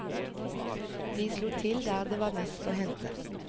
De slo til der det var mest å hente.